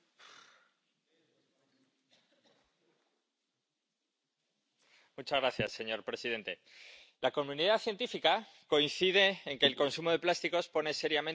Señor presidente, la comunidad científica coincide en que el consumo de plásticos pone seriamente en peligro el medio ambiente, y seguramente ustedes lo habrán podido comprobar en verano.